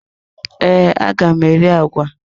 Ee, aga m eri agwa.